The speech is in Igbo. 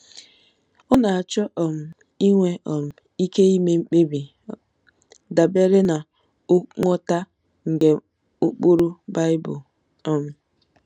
Ọ na-achọ um inwe um ike ime mkpebi dabere ná nghọta nke ụkpụrụ Bible um.